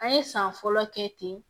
An ye san fɔlɔ kɛ ten